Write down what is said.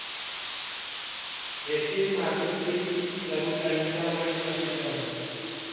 येथील मातोश्री सरुताईंचा मठ प्रसिद्ध आहे.